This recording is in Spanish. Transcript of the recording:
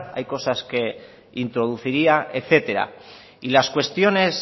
hay que cosas que introduciría etcétera y las cuestiones